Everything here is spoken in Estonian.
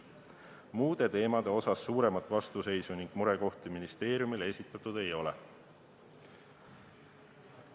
Muude teemade osas suuremat vastuseisu ning murekohti ministeeriumile esitatud ei ole.